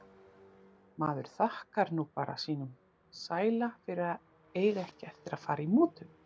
Maður þakkar nú bara sínum sæla fyrir að eiga ekki eftir að fara í mútur.